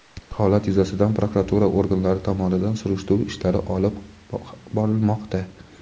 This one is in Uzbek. holat yuzasidan prokuratura organlari tomonidan surishtiruv ishlari ham olib borilmoqda.